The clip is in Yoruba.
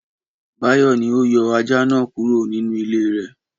Báyọ̀ ni ó yọ ajá náà kúrò nínú ilé rẹ̀.